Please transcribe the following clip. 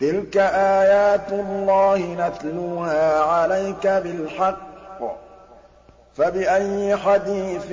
تِلْكَ آيَاتُ اللَّهِ نَتْلُوهَا عَلَيْكَ بِالْحَقِّ ۖ فَبِأَيِّ حَدِيثٍ